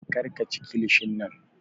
Kar ka chi kilishin nan!